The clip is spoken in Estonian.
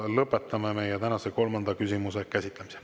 Lõpetame meie tänase kolmanda küsimuse käsitlemise.